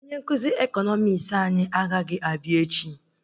Onye nkụzi ekọnọmis anyị anaghị abịa echi